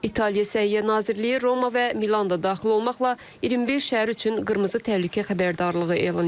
İtaliya Səhiyyə Nazirliyi Roma və Milan da daxil olmaqla 25 şəhər üçün qırmızı təhlükə xəbərdarlığı elan edib.